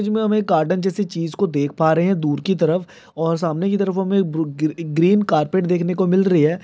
जी हम गार्डन जैसी चीज को देख पा रहे दूर की तरफ और सामने की तरफ हमे बृ एक एक ग्रीन कार्पेट देखने को मिल रही है ।